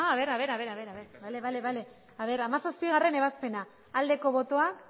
berriro bozkatuko dugu hamazazpigarrena ebazpena aldeko botoak